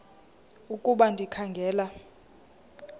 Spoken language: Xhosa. ukuba ndikha ngela